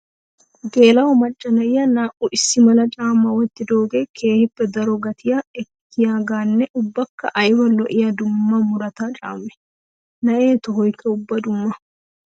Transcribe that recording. Geela'o macca na'iya naa'u issi mala caama wottidooge keehippe daro gatiya ekkiyaganne ubbakka aybba lo'iya dumma muruta caame! Na'e tohoykka ubba dumma.